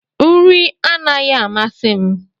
Nri anaghị amasị m.